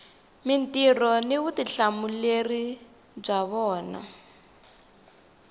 mintirho ni vutihlamuleri bya vona